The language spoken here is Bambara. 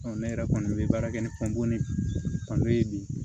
ne yɛrɛ kɔni bɛ baara kɛ ni ye bi